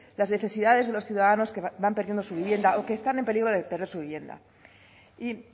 las necesidades de los ciudadanos que van perdiendo su vivienda o que están en peligro de perder su vivienda y